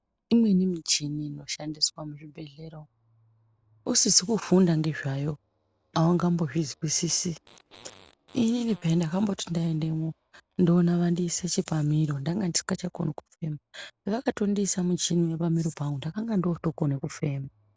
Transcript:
Imweni michini inoshandiswa muzvibhehlera umu usizi kufunda ngezvayo awungambozvizwisisi. Inin pheya ndakamboti ndaendemwo ndoona vandiisa chepamiro ndangandisingachakoni kufema, pavatongondiisa muchini uya pamiro pangu ndakanga ndotokona kufema.